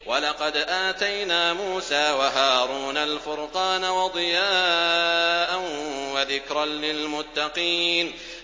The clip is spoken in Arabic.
وَلَقَدْ آتَيْنَا مُوسَىٰ وَهَارُونَ الْفُرْقَانَ وَضِيَاءً وَذِكْرًا لِّلْمُتَّقِينَ